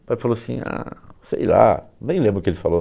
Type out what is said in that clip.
O pai falou assim, ah, sei lá, nem lembro o que ele falou.